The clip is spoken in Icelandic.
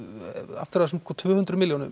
aftur að þessum tvö hundruð milljónum